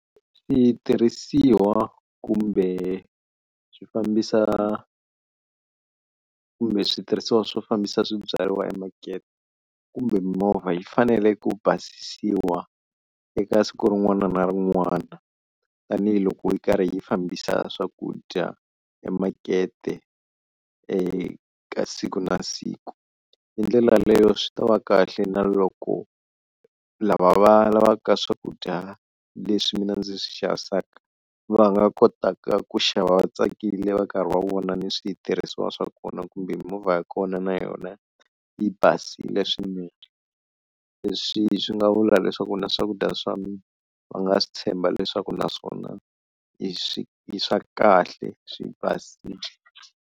Switirhisiwa kumbe swi fambisa kumbe switirhisiwa swo fambisa swibyariwa emakete kumbe mimovha, yi fanele ku basisiwa eka siku rin'wana na rin'wana tanihiloko yi karhi yi fambisa swakudya emakete eka siku na siku, hi ndlela leyo swi ta va kahle na loko lava va lavaka swakudya leswi mina ndzi swi xavisaka va nga kotaka ku xava vatsakile va karhi va vona ni switirhisiwa swa kona kumbe mimovha ya kona na yona yi basile swinene, leswi swi nga vula leswaku na swakudya swa va nga swi tshemba leswaku naswona i swi i swa kahle swi basile.